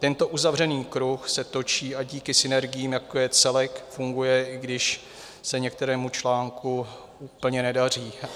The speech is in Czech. Tento uzavřený kruh se točí a díky synergiím, jako je celek, funguje, i když se některému článku úplně nedaří.